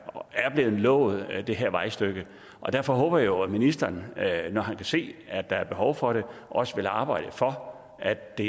blevet lovet det her vejstykke og derfor håber jeg jo at ministeren når han kan se at der er behov for det også vil arbejde for at det